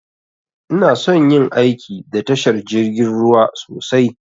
Inason yin aiki da tashar jirgin ruwa sosai